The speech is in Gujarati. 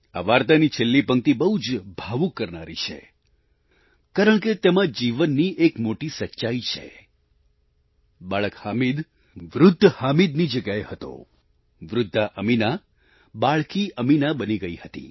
આ વાર્તાની છેલ્લી પંક્તિ બહુ જ ભાવુક કરનારી છે કારણ કે તેમાં જીવનની એક મોટી સચ્ચાઈ છે બાળક હામિદ વૃદ્ધ હામિદની જગ્યાએ હતો વૃદ્ધા અમીના બાળકી અમીના બની ગઈ હતી